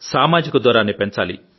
సామాజిక దూరాన్ని పెంచాలి